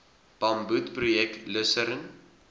bamboed projek lusern